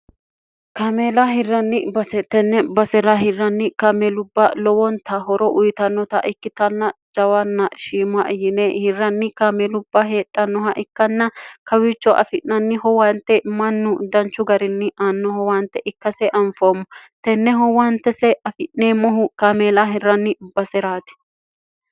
kaameelaa hirranni tenne basera hirranni kaamelubbaa lowoonta horo uyitannota ikkitanna jawanna shiima yine hirranni kaame lubbaa heedhannoha ikkanna kawichoo afi'nanniho waante mannu danchu garinni annoho waante ikka see anfoommo tenneho wante see afi'neemmohu kaameela hirranni baseraati